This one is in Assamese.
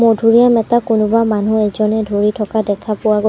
মধুৰীআম এটা কোনোবা মানুহ এজনে ধৰি থকা দেখা পোৱা গ--